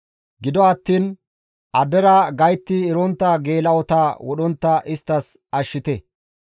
Gido attiin addera gaytti erontta geela7ota wodhontta inttes ashshite.